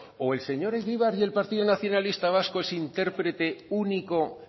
estatuto o el señor egibar y el partido nacionalista vasco es intérprete único